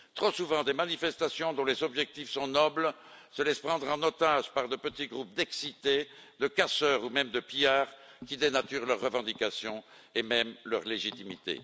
Trop souvent des manifestations dont les objectifs sont nobles se laissent prendre en otage par de petits groupes d'excités, de casseurs ou même de pillards, qui dénaturent leurs revendications et même leur légitimité.